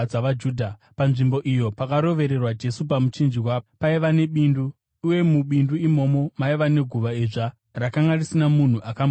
Panzvimbo iyo pakarovererwa Jesu pamuchinjikwa, paiva nebindu, uye mubindu imomo, maiva neguva idzva, rakanga risina munhu akamboradzikwamo.